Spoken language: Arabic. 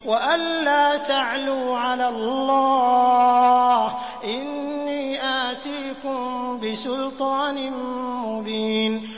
وَأَن لَّا تَعْلُوا عَلَى اللَّهِ ۖ إِنِّي آتِيكُم بِسُلْطَانٍ مُّبِينٍ